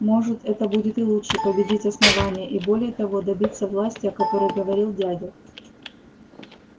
может это будет и лучше победить основание и более того добиться власти о которой говорил дядя